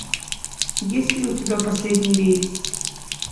есть ли у тебя последний рейс